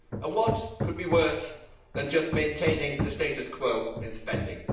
What could be worse than just maintaining the status quo in spending?